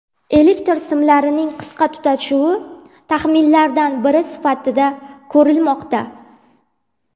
Elektr simlarining qisqa tutashuvi taxminlardan biri sifatida ko‘rilmoqda.